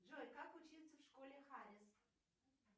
джой как учиться в школе харрис